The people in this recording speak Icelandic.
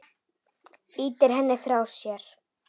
Ýtir henni frá sér.